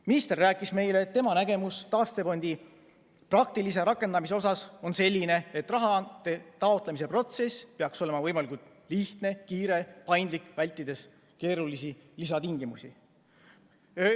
Minister rääkis meile, et tema nägemus taastefondi praktilisest rakendamisest on selline, et raha taotlemise protsess peaks olema võimalikult lihtne, kiire, paindlik, vältides keerulisi lisatingimusi.